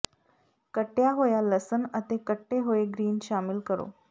ਕੱਟਿਆ ਹੋਇਆ ਲਸਣ ਅਤੇ ਕੱਟੇ ਹੋਏ ਗਰੀਨ ਸ਼ਾਮਿਲ ਕਰੋ